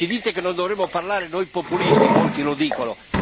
Ci dite che non dovremmo parlare noi populisti, molti lo dicono.